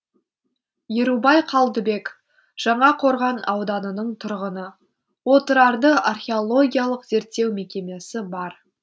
ерубай қалдыбек жаңақорған ауданының тұрғыны отырарды археологиялық зерттеу мекемесі бар